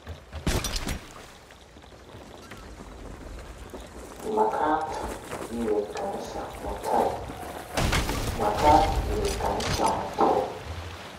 Makat iwe kanisa mutai.